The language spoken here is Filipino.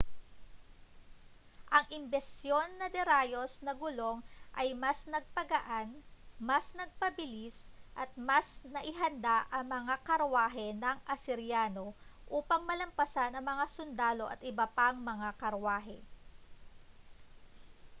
ang imbensyon na de-rayos na gulong ay mas nagpagaan mas nagpabilis at mas naihanda ang mga karwahe ng asiryano upang malampasan ang mga sundalo at iba pang mga karwahe